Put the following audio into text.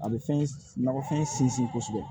A bɛ fɛn nakɔfɛn sinsin kosɛbɛ